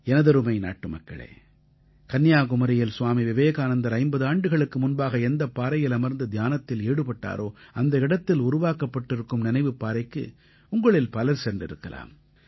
எனதருமை நாட்டுமக்களே கன்னியாகுமரியில் ஸ்வாமி விவேகானந்தர் 50 ஆண்டுகளுக்கு முன்பாக எந்தப் பாறையில் அமர்ந்து தியானத்தில் ஈடுபட்டாரோ அந்த இடத்தில் உருவாக்கப்பட்டிருக்கும் நினைவுப் பாறைக்கு உங்களில் பலர் சென்றிருக்கலாம்